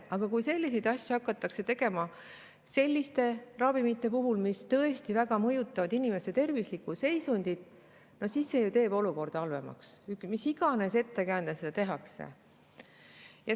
Aga kui selliseid asju hakatakse tegema ravimite puhul, mis tõesti väga mõjutavad inimese tervislikku seisundit, siis see teeb olukorra halvemaks, mis iganes ettekäändel seda ka ei tehta.